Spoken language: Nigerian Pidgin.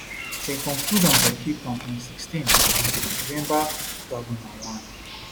dem conclude am for cape town on 16 um november 2001